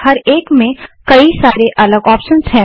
हर एक में कई सारे अलग ऑप्शंस हैं